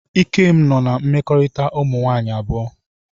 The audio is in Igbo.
Ikem nọ na mmekorita umunwaanyi abuo.